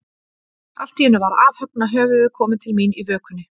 Allt í einu var afhöggna höfuðið komið til mín, í vökunni.